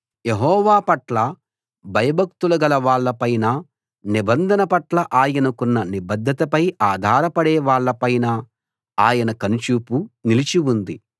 యెహోవా పట్ల భయభక్తులుగల వాళ్ళ పైనా నిబంధన పట్ల ఆయనకున్న నిబద్ధతపై ఆధారపడే వాళ్ల పైనా ఆయన కనుచూపు నిలిచి ఉంది